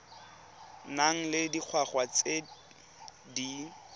nang le dingwaga tse di